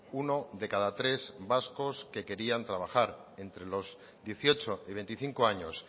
uno de cada tres vascos que querían trabajar entre los dieciocho y veinticinco años